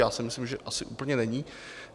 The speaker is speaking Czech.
Já si myslím, že asi úplně není.